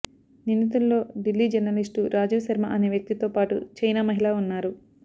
నిందుతుల్లో Delhi journalist Rajiv Sharma అనే వ్యక్తి తోపాటు చైనా మహిళ ఉన్నారు